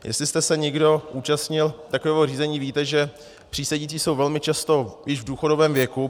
Jestli jste se někdo účastnil takového řízení, víte, že přísedící jsou velmi často již v důchodovém věku.